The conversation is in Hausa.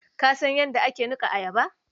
Ka san ydda ake nuka ayaba?